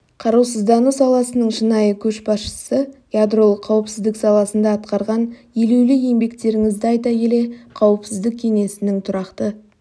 қарусыздану саласының шынайы көшбасшысы ядролық қауіпсіздік саласында атқарған елеулі еңбектеріңізді айта келе қауіпсіздік кеңесінің тұрақты